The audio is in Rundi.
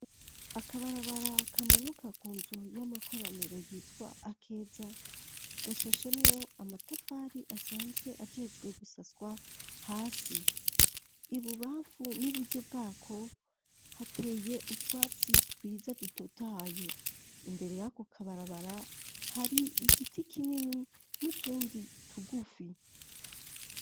Akabarabara kamanuka ku nzu y'amakoraniro yitwa Akeza gashashemwo amatafari asanzwe ajejwe gusaswa hasi, ibubamfu n'iburyo bwako hateye utwatsi twiza dutotahaye, imbere yako kabarabara hari igiti kinini n'utundi tugufi.